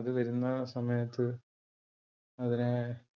അത് വരുന്ന സമയത്ത് അതിനെ